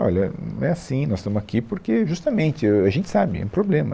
Olha, não é assim, nós estamos aqui porque justamente, ahn, a gente sabe, é um problema.